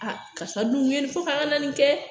A karisa dun kun ye ni fɔ ko ka nana nin kɛ.